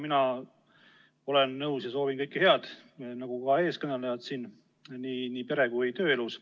Minagi soovin teile kõike head, nagu eelkõnelejad siin, nii pere- kui ka tööelus.